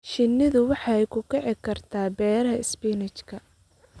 Shinnidu waxay ku kici kartaa beeraha isbinaajka.